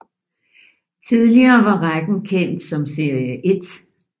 Tidligere var rækken kendt som Serie 1